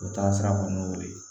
O taasira kɔni y'o de ye